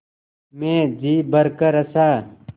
मैं जी भरकर हँसा